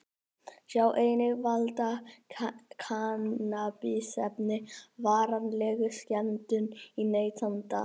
Sjá einnig: Valda kannabisefni varanlegum skemmdum á neytanda?